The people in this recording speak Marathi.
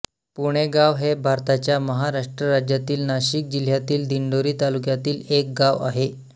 पुणेगाव हे भारताच्या महाराष्ट्र राज्यातील नाशिक जिल्ह्यातील दिंडोरी तालुक्यातील एक गाव आहे